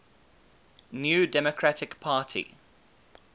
new democratic party